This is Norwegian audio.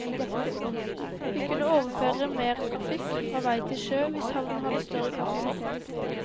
Vi kunne overføre mer trafikk fra vei til sjø, hvis havnen hadde større kapasitet.